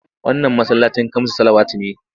Wannan masallacin kamsus salawati ne.